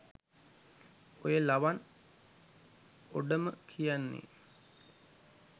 ඔය ලවන් ඔඩම කියන්නේ